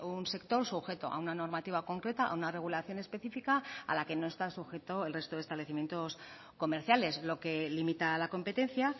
un sector sujeto a una normativa concreta a una regulación específica a la que no está sujeto el resto de establecimientos comerciales lo que limita a la competencia